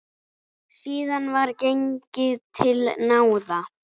Síðan var gengið til náða.